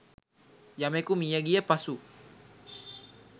යමෙකු මිය ගිය පසු